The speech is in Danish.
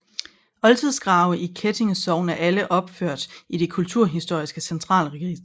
Oldtidsgrave i Kettinge Sogn er alle opført i Det kulturhistoriske Centralregister